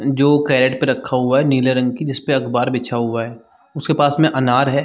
जो कैरेट पे रखा हुआ है नीले रंग की जिसपे अखबार बिछा हुआ है उसके पास में अनार हैं ।